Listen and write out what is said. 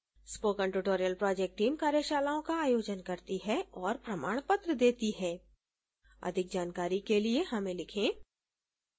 spoken tutorial project team कार्यशालाओं का आयोजन करती है और प्रमाणपत्र देती है अधिक जानकारी के लिए हमें लिखें